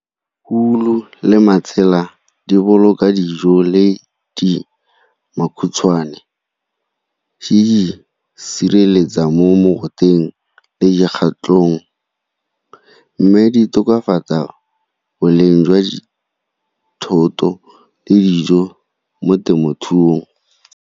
Wool-u le matsela di boloka dijo le di makhutshwane, di di sireletsa mo mogoteng mme di tokafatsa boleng jwa thoto le dijo mo temothuong.